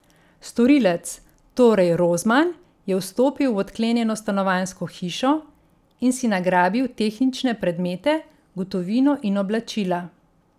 Storilec, torej Rozman, je vstopil v odklenjeno stanovanjsko hišo in si nagrabil tehnične predmete, gotovino in oblačila.